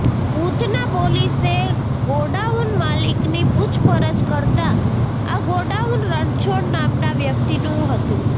ઉધના પોલીસે ગોડાઉન માલિકની પૂછપરછ કરતા આ ગોડાઉન રણછોડ નામના વ્યક્તિનું હતું